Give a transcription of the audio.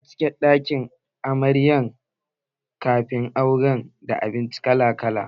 Za a cike ɗakin ajiye amarya kafin aure da abinci kala kala